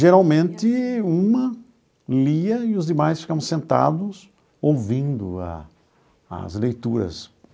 Geralmente, uma lia e os demais ficavam sentados ouvindo a as leituras.